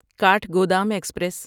Kathgodam express